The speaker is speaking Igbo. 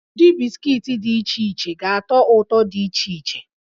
Ụdị bisikiiti dị iche iche ga-atọ ụtọ dị iche iche